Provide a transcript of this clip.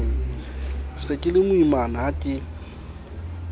se ke lemoimana ha ke